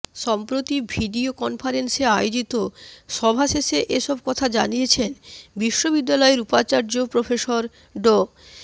সম্প্রতি ভিডিও কনফারেন্সে আয়োজিত সভা শেষে এসব কথা জানিয়েছেন বিশ্ববিদ্যালয়ের উপাচার্য প্রফেসর ড